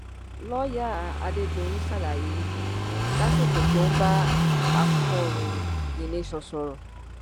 lọọyà adédọyìn ṣàlàyé yìí lásìkò tó ń bá akọròyìn the nation sọrọ